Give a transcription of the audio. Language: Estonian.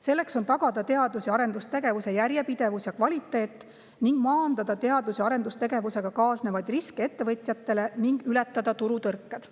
Selleks on tagada teadus‑ ja arendustegevuse järjepidevus ja kvaliteet, maandada teadus‑ ja arendustegevusega kaasnevaid riske ettevõtjatele ning ületada turutõrked.